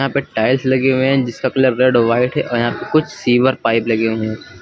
यहां पे टाइल्स लगे हुए हैं जिसका कलर रेड और व्हाइट है और यहां पे कुछ सीवर पाइप लगे हुए हैं।